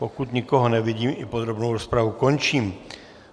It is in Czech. Pokud nikoho nevidím, i podrobnou rozpravu končím.